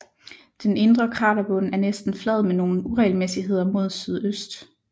Den indre kraterbund er næsten flad med nogle uregelmæssigheder mod sydøst